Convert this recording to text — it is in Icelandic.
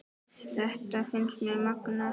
Þetta finnst mér magnað.